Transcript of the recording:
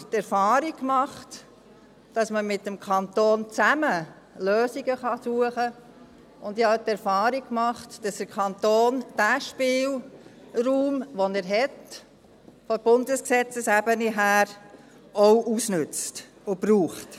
Ich habe aber die Erfahrung gemacht, dass man zusammen mit dem Kanton Lösungen suchen kann, und ich habe auch die Erfahrung gemacht, dass der Kanton den Spielraum, den er vom Bundesrecht her hat, auch ausnützt und braucht.